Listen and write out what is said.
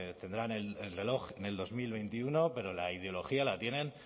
tendrán el reloj en dos mil veintiuno pero la ideología la tienen